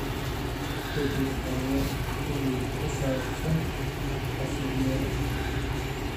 u dhir hooyo iimayl ku saabsaan casiryada